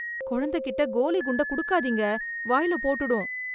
குழந்ததைகிட்ட கோலி குண்டை குடுக்காதீங்க, வாயில போட்டுடும்.